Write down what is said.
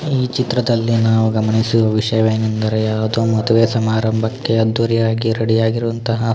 ಈ ಚಿತ್ರದಲ್ಲಿ ನಾವು ಗಮನಿಸುವ ವಿಷಯವೇನೆಂದರೆ ಯಾವುದೊ ಮದುವೇ ಸಮಾರಂಭಕ್ಕೆ ಅದ್ದೂರಿಯಾಗಿ ರೆಡಿ ಆಗಿರುವಂತಹ --